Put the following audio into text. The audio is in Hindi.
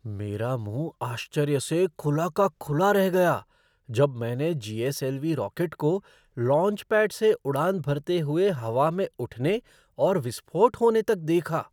मेरा मुँह आश्चर्य से खुला का खुला रह गया जब मैंने जी.एस.एल.वी. रॉकेट को लॉन्चपैड से उड़ान भरते हुए हवा में उठने और विस्फोट होने तक देखा।